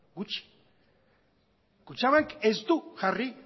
gutxi kutxabank ez du jarri